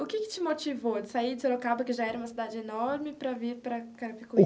O que que te motivou de sair de Sorocaba, que já era uma cidade enorme, para vir para Carapicuíba?